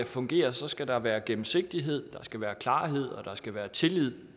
fungere skal der være gennemsigtighed skal være klarhed og der skal være tillid